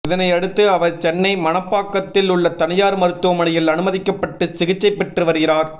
இதனை அடுத்து அவர் சென்னை மணப்பாக்கத்தில் உள்ள தனியார் மருத்துவமனையில் அனுமதிக்கப்பட்டு சிகிச்சை பெற்று வருகிறார்